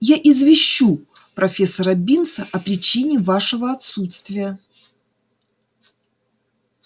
я извещу профессора бинса о причине вашего отсутствия